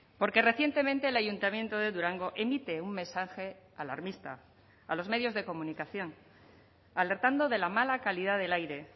porque recientemente el ayuntamiento de durango emite un mensaje alarmista a los medios de comunicación alertando de la mala calidad del aire